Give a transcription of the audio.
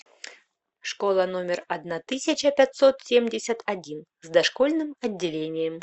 школа номер одна тысяча пятьсот семьдесят один с дошкольным отделением